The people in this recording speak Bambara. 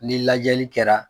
Ni lajɛli kɛra